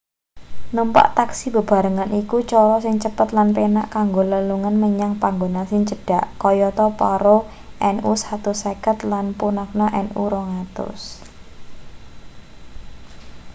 numpak taksi bebarengan iku cara sing cepet lan penak kanggo lelugan menyang panggonan sing cedhak kayata paro nu 150 lan punakha nu 200